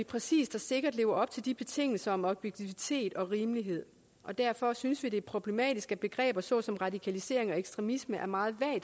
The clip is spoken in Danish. præcist og sikkert lever op til de betingelser om objektivitet og rimelighed og derfor synes vi at det er problematisk at begreber såsom radikalisering og ekstremisme er meget